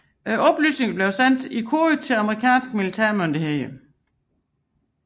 Oplysningerne blev sendt i kode til amerikanske militære myndigheder